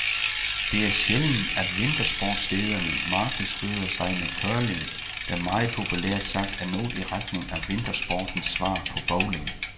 Det er sjældent, at vintersportsstederne markedsfører sig med curling, der meget populært sagt er noget i retning af vintersportens svar på bowling.